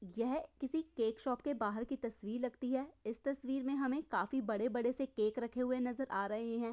यह किसी cake shop की बाहर की तस्वीर लगती है। इस तस्वीर मे हमे काफी बड़े-बड़े से केक रखे हुऐ नजर आ रहे हैं।